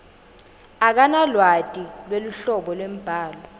akanalwati lweluhlobo lwembhalo